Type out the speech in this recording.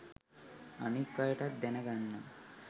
අනික් අයටත් දැනගන්න